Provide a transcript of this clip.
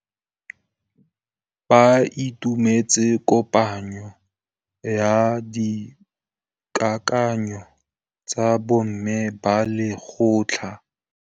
Ba itumeletse kôpanyo ya dikakanyô tsa bo mme ba lekgotla.